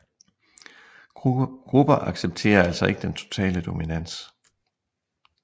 Grupper accepterer altså ikke den totale dominans